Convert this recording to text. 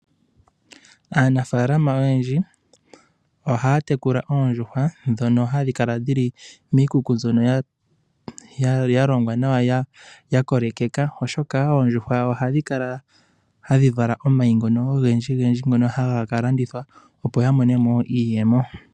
Aanafalama oyendji ohaya tekula oondjuhwa ndhono hadhi kala dhili miikuku mbyono yalongwa nawa yakolekeka oshoka oondjuhwa ohadhi kala tadhi vala omayi ogendji. Omayi ngono ohaga landithwa, opo ya mone iiyemo.